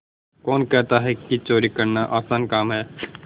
कौन कहता है कि चोरी करना आसान काम है